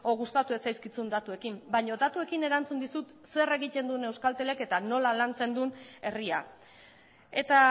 gustatu ez zaizkizun datuekin baina datuekin erantzun dizut zer egiten duen euskaltelek eta nola lantzen duen herria eta